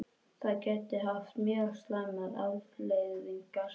Það gæti haft mjög slæmar afleiðingar